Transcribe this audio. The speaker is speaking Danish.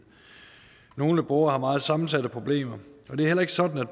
nogle borgere har meget sammensatte problemer og det er heller ikke sådan at